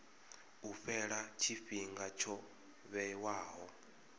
u fhela tshifhinga tsho vhewaho